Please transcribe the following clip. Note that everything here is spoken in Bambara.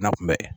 Na kun bɛ